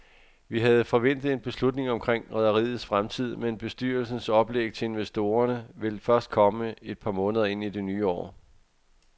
Vi havde forventet en beslutning omkring rederiets fremtid, men bestyrelsens oplæg til investorerne vil først komme et par måneder ind i det nye år.